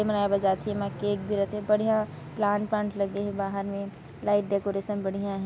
एमा केक भी रथेबढ़िया प्लांट वांट लगे हे बाहर में लाइट डेकोरेशन बढ़िया हे।